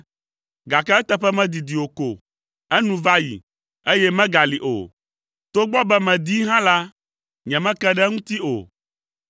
Gake eteƒe medidi o ko, enu va yi, eye megali o; togbɔ be medii hã la, nyemeke ɖe eŋuti o.